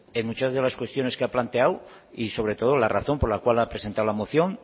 en muchas de las cuestiones que ha planteado y sobre todo la razón por la cual ha presentado la moción